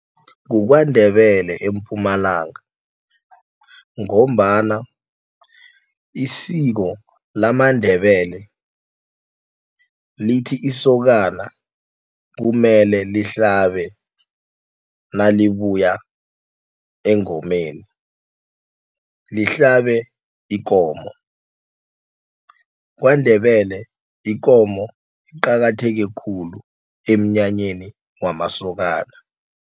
KukwaNdebele eMpumalanga ngombana isiko lamaNdebele lithi isokana kumele lihlabe nalibuya engomeni lihlale ikomo. KwaNdebele ikomo iqakatheke khulu emnyanyeni wamasokana.